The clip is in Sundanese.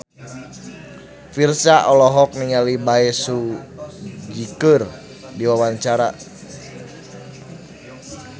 Virzha olohok ningali Bae Su Ji keur diwawancara